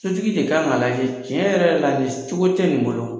Sotigi de kan k'a lajɛ tiɲɛ yɛrɛ la, nin cogo tɛ nin bolo.